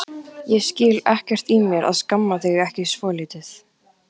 Ég skil ekkert í mér að skamma þig ekki svolítið.